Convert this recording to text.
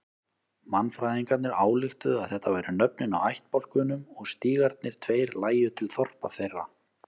Mannfræðingarnir ályktuðu að þetta væru nöfnin á ættbálkunum og stígarnir tveir lægju til þorpa þeirra.